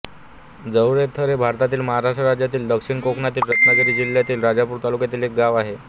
जवळेथर हे भारतातील महाराष्ट्र राज्यातील दक्षिण कोकणातील रत्नागिरी जिल्ह्यातील राजापूर तालुक्यातील एक गाव आहे